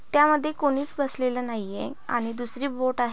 त्यामध्ये कोणीच बसलेल नाही ये आणि दुसरी बोट आहे.